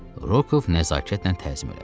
Rokoov nəzakətlə təzim elədi.